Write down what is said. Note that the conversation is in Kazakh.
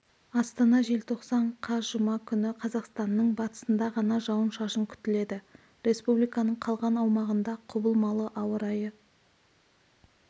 астана желтоқсан қаз жұма күні қазақстанның батысында ғана жауын-шашын күтіледі республиканың қалған аумағында құбылмалы ауа райы